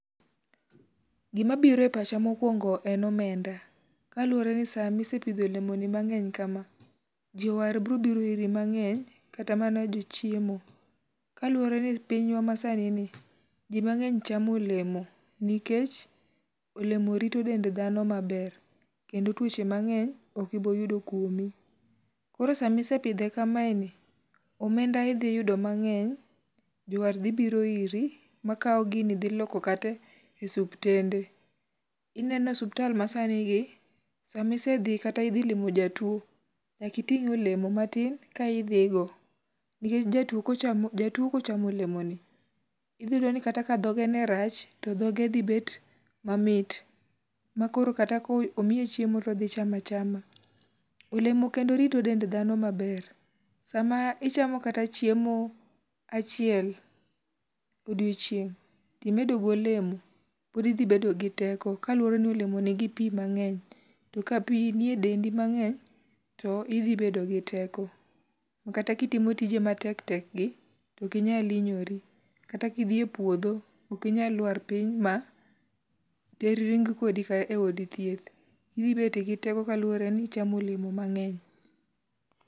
Gimabiro e pacha mokwongo en omenda. Kaluwore ni samisepidho olemoni mang'eny kama, jowar brobiro iri mang'eny kata mana jochiemo kaluwore ni pinywa masani ni ji mang'eny chamo olemo nikech olemo rito dend dhano maber kendo tuoche mang'eny okiboyudo kuomi. Koro samisepidhe kamaeni, omenda idhiyudo mang'eny, jowar dhi biro iri ma kawo gini dhi loko kate suptende. Ineno suptal masanigi, samisedhi kata idhi limo jatuo nyakiting' olemo matin ka idhigo nikech jatuo kochamo olemoni, idhiyudo ni kata ka dhoge ne rach to dhoge dhibet mamit, ma koro kata komiye chiemo todhi chamo achama. Olemo kendo rito dend dhano maber, sama ichamo kata chiemo, achiel odiochieng' timedo golemo, podi idhibedo gi teko kaluwore ni olemo nigi pi mang'eny to ka pi nie dendi mang'eny to idhibedo gi teko ma kata kitimo tioje matek tek gi tokinyal hinyori kata kidhi e puodho, okinyaluar piny ma ring kodi e od thieth, idhibete gi teko kaluwore ni ichamo olemo mang'eny.